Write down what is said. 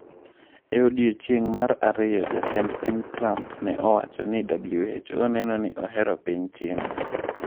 E odiechieng’ mar ariyo, Jatend piny Trump ne osewacho ni WHO neno ni ohero piny China.